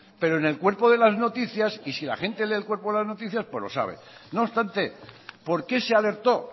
pero en el cuerpo de las noticias y si la gente lee el cuerpo de las noticias pues lo sabe no obstante por qué se alertó